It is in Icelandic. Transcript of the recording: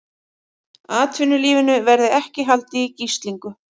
Atvinnulífinu verði ekki haldið í gíslingu